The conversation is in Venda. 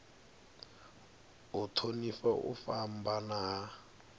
u thonifha u fhambana ha